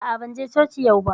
A'a, ban je coci yau ba